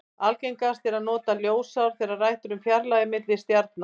Algengast er að nota ljósár þegar rætt er um fjarlægðir til stjarna.